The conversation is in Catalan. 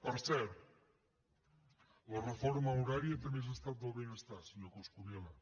per cert la reforma horària també és estat del benestar senyor coscubiela